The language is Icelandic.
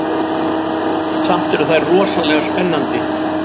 Samt eru þær rosalega spennandi.